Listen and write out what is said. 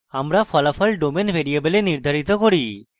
আমি ফলাফল domain ভ্যারিয়েবলে নির্ধারিত করি